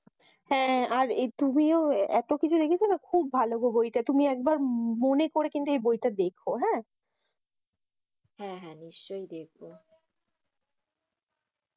হ্যাঁ। আর তুমিও এত কিছু দেখেছো নাকি? খুব ভালো গো বইটা। তুমি একবার মনে করে দেখো বইটা।